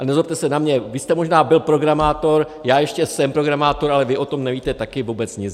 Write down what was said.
A nezlobte se na mě, vy jste možná byl programátor, já ještě jsem programátor, ale vy o tom nevíte taky vůbec nic.